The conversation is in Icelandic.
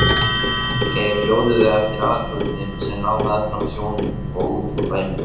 Þeir hjóluðu eftir aðalgötunni sem lá meðfram sjónum og út úr bænum.